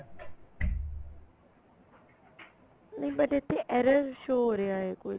ਨੀਂ but ਇੱਥੇ error show ਹੋ ਰਿਹਾ ਏ ਕੁੱਝ